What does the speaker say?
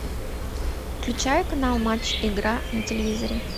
включай канал матч игра на телевизоре